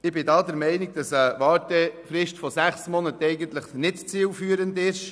Ich bin der Meinung, dass eine Wartefrist von sechs Monaten nicht zielführend ist.